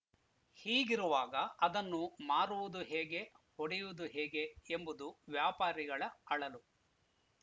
ಹೀಗಿರುವಾಗ ಅದನ್ನು ಮಾರುವುದು ಹೇಗೆ ಹೊಡೆಯುವುದು ಹೇಗೆ ಎಂಬುದು ವ್ಯಾಪಾರಿಗಳ ಅಳಲು